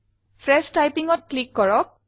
fresh Typingত click কৰক